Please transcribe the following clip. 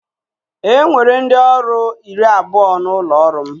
E nwere ndị ọrụ iri abụọ n'ụlọ ọrụ m